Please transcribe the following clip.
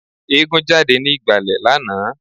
Eégún jáde ní ìgbàlẹ̀ lánàá